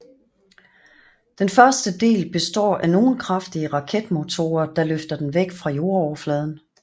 Den første del består af nogen kraftige raketmotorer der løfter den væk fra jordoverfladen